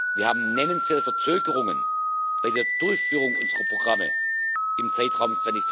Wir haben nennenswerte Verzögerungen bei der Durchführung unserer Programme im Zeitraum